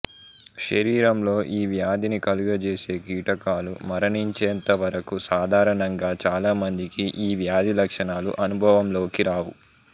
శరీరంలో ఈ వ్యాధిని కలుగజేసే కీటకాలు మరణించేంత వరకు సాధారణంగా చాలా మందికి ఈ వ్యాధి లక్షణాలు అనుభవంలోకి రావు